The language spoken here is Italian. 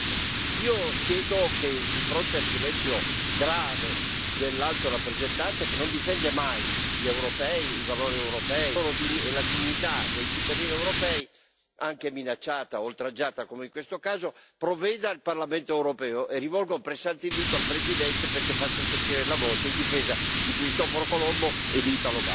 Io chiedo che, di fronte al silenzio grave dell'Alto rappresentante, che non difende mai gli europei, i valori europei e la dignità dei cittadini europei, anche minacciata, oltraggiata come in questo caso, provveda il Parlamento europeo, e rivolgo un pressante invito al Presidente perché faccia sentire la voce in difesa di Cristoforo Colombo e di Italo Balbo.